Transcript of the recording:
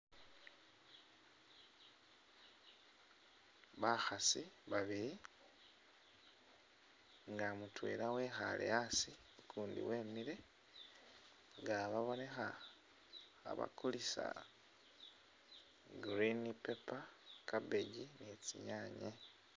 Bakhasi babili nga mutwela wekhaale asi, ukuundi wemile nga babonekha khabakulisa green pepper, cabbage ni tsinyaanye.